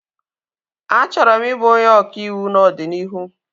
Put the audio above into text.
A chọrọ m ị bụ onye ọka ịwụ n'ọdịnihu